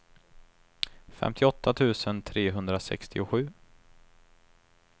femtioåtta tusen trehundrasextiosju